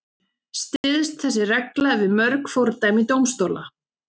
Styðst þessi regla við mörg fordæmi dómstóla.